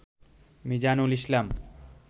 Mizanul Islam